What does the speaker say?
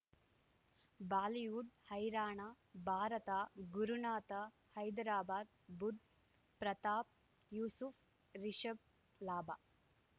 Bollywood ಹೈರಾಣ ಭಾರತ ಗುರುನಾಥ ಹೈದರಾಬಾದ್ ಬುಧ್ ಪ್ರತಾಪ್ ಯೂಸುಫ್ ರಿಷಬ್ ಲಾಭ